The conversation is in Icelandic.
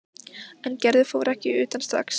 En Gerður fór ekki utan strax.